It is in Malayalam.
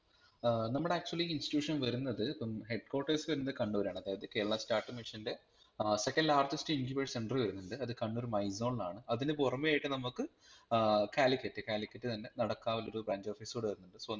ഏർ നമ്മടെ Actually institution വരുന്നത് ഇപ്പം head quarters വരുന്നത് കണ്ണൂരാണ് അതായത് കേരള startup mission ൻ്റെ ഏർ second largest incubation center വരുന്നുണ്ട് അത് കണ്ണൂർ മൈസോൺലാണ് അതിനുപുറമെയായിട്ട് നമക് ഏർ കാലിക്കറ്റ്, കാലിക്കറ്റ് തന്നെ നടക്കാവിൽ ഒരു branch office കൂടിവരുന്നുണ്ട് so